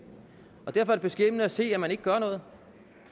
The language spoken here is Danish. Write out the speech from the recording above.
derfor er det beskæmmende at se at man ikke gør noget